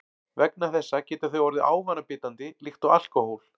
Vegna þessa geta þau orðið ávanabindandi líkt og alkóhól.